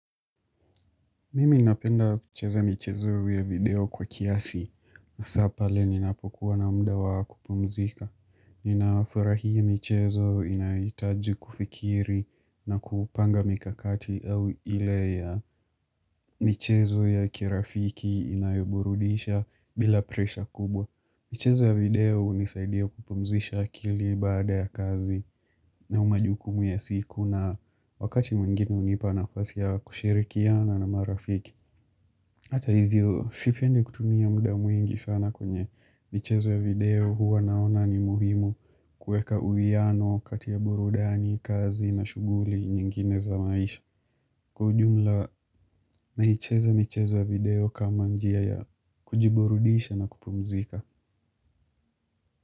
Mimi ninapenda kucheza michezo ya video kwa kiasi hasa pale ninapokuwa na mda wa kupumzika. Ninafurahia michezo inaitaji kufikiri na kupanga mikakati au ile ya michezo ya kirafiki inayoburudisha bila presha kubwa. Michezo ya video unisaidia kupumzisha akili baada ya kazi na majuku ya siku na wakati mwengine unipa nafasi ya kushirikiana na marafiki. Hata hivyo, sipendi kutumia muda mwingi sana kwenye michezo ya video huwa naona ni muhimu kueka uiano kati ya burudani, kazi na shuguli nyingine za maisha. Kwa ujumla, naicheza michezo ya video kama njia ya kujiburudisha na kupumzika.